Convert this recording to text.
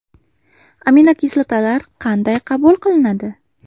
Aminokislotalar qanday qabul qilinadi?